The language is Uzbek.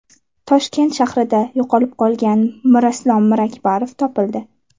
Toshkent shahrida yo‘qolib qolgan Mirislom Mirakbarov topildi.